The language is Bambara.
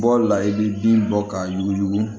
Bɔli la i bɛ bin bɔ k'a yuguyugu